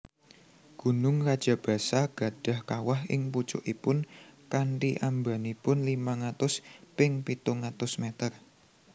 Gunung Rajabasa gadhah kawah ing pucukipun kanthi ambanipun limang atus ping pitung atus meter